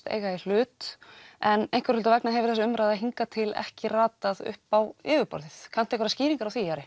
eiga í hlut en einhverra hluta vegna hefur þessi umræða hingað til ekki ratað upp á yfirborðið kanntu einhverjar skýringar á því Ari